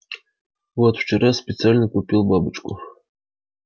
вот вчера специально купил бабочку